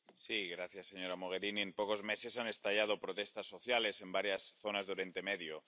Señor presidente. Señora Mogherini, en pocos meses han estallado protestas sociales en varias zonas de Oriente Medio.